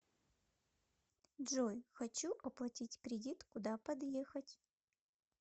джой хочу оплатить кредит куда подъехать